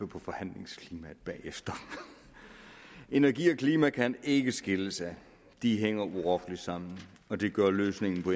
på forhandlingsklimaet bagefter energi og klima kan ikke skilles ad de hænger urokkeligt sammen og det gør løsningen på